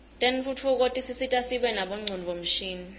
tentfutfuko tisisita sibe nabo ngcondvomshini